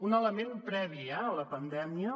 un element previ eh a la pandèmia